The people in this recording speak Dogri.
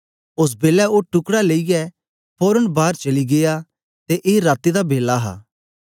ओस बेलै ओ टुकड़ा लेईयै फोरन बार चली गीया ते ए राती दा बेला हा